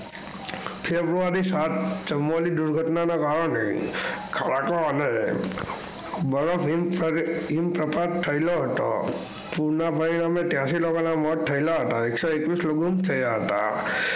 ફેબ્રુઆરી સાત દુર ઘટના ના કારણે બરફ હિમ સાથે પુર ના પરિણામે તાયાસી લોકો ના મોત થયેલા હતા એકસો એકવીસ લોકો ગુમ થયા હતા.